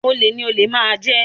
Olè ni olè máa máa jẹ